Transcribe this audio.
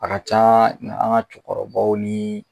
A ka caa an ŋa cɛkɔrɔbaw nii